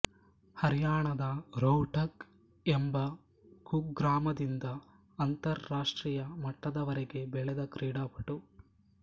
ಹರ್ಯಾಣದ ರೋಹ್ಟಕ್ ಎಂಬ ಕುಗ್ರಾಮದಿಂದ ಅಂತರ್ ರಾಷ್ಟ್ರೀಯ ಮಟ್ಟದವರೆಗೆ ಬೆಳೆದ ಕ್ರೀಡಾಪಟು